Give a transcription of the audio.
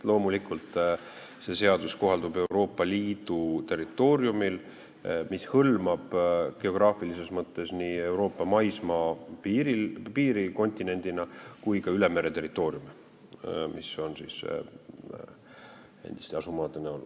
Loomulikult, see seadus kohaldub Euroopa Liidu territooriumil, mis hõlmab geograafilises mõttes nii Euroopa maismaapiiri kontinendina kui ka ülemereterritooriume endiste asumaade näol.